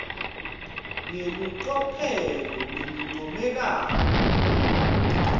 ngelicophelo lelincomekako